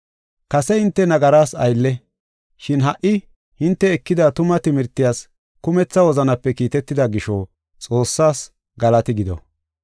Kase hinte nagaras aylle, shin ha77i hinte ekida tuma timirtiyas kumetha wozanape kiitetida gisho Xoossaas galati gido.